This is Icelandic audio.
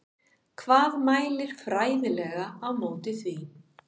Hvað mælir fræðilega á móti því?